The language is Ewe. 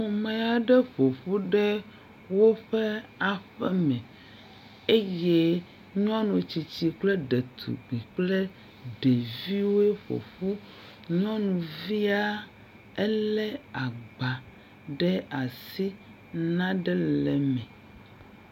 Ame aɖe ƒoƒu ɖe woƒe aƒeme eye nyɔnu tsitsi kple ɖetugbi kple ɖeviwo ƒoƒu. Nyɔnuvia ele agba ɖe asi nua ɖem le eme.